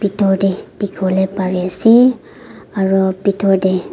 Bhetor tey dekhe pole pare ase aro bhedor tey.